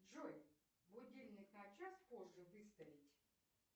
джой будильник на час позже выставить